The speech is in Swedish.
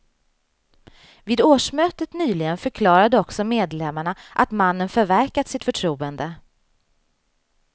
Vid årsmötet nyligen förklarade också medlemmarna att mannen förverkat sitt förtroende.